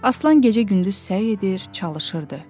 Aslan gecə-gündüz səy edir, çalışırdı.